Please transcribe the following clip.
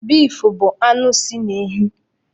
Bif bụ anụ si na ehi.